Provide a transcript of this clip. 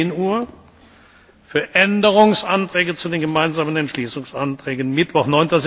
10.00 Uhr, für Änderungsanträge zu den gemeinsamen Entschließungsanträgen Mittwoch,